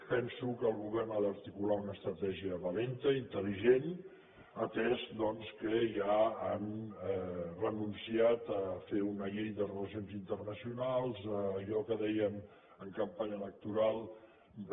penso que el govern ha d’articular una estratègia valenta intel·ligent atès doncs que ja han renunciat a fer una llei de relacions internacionals allò que deien en campanya electoral de